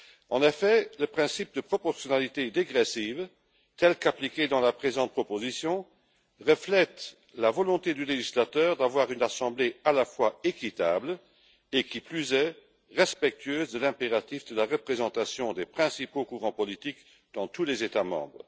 En effet, le principe de proportionnalité dégressive, tel qu'appliqué dans la présente proposition, reflète la volonté du législateur d'avoir une assemblée à la fois équitable et respectueuse de l'impératif de la représentation des principaux courants politiques dans tous les États membres.